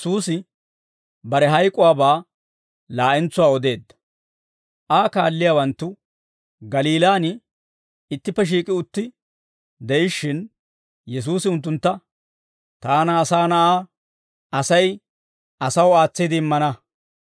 Aa kaalliyaawanttu Galiilaan, ittippe shiik'i utti de'ishshin, Yesuusi unttuntta, «Taana, Asaa Na'aa, Asay asaw aatsiide immana.